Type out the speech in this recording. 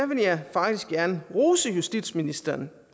vil jeg faktisk gerne rose justitsministeren